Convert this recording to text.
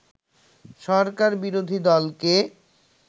সরকার বিরোধী দলকে